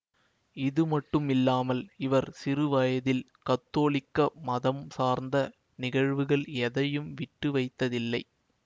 இதுமட்டுமில்லாமல் இவர் சிறுவயதில் கத்தோலிக்க மதம் சார்ந்த நிகழ்வுகள் எதையும் விட்டுவைத்ததில்லை